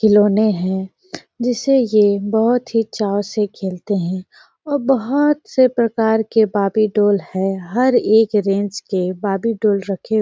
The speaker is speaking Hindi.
खिलौना है जिसे ये बहुत ही चाव से खेलते है और बहुत से प्रकार के बार्बीडाल है हर एक रेन्ज के बार्बीडाल रखे --